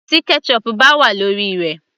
Tí ketchup bá wà lórí rẹ̀